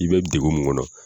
I bɛ degun mun kɔnɔ